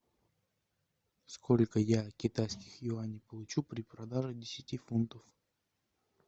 сколько я китайских юаней получу при продаже десяти фунтов